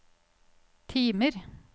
timer